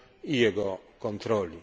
i jego kontroli.